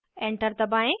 enter दबाएँ